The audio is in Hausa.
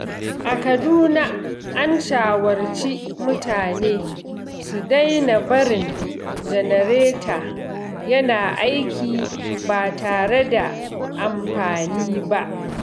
A Kaduna, an shawarci mutane su daina barin janareta yana aiki ba tare da amfani ba.